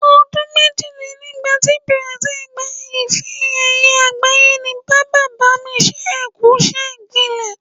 O̩dún méjìlélẹ́gbàá ti Brazil gba ife-è̩ye̩ àgbáyé ni bàbá-bá-mi-s̩ẹ́-ẹ-kù-gbilè̩.